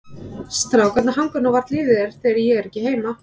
Strákarnir hanga nú varla yfir þér þegar ég er ekki heima.